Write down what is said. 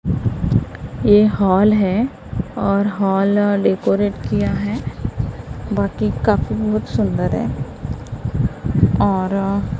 ये हॉल है और हॉल डेकोरेट किया है बाकी काफी बहुत सुंदर है और--